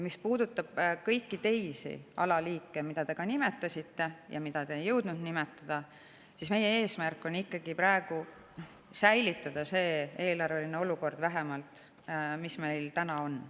Mis puudutab kõiki teisi alaliike, mida te nimetasite või mida te ka ei jõudnud nimetada, siis meie eesmärk on ikkagi praegu säilitada vähemalt see eelarveline olukord, mis meil täna on.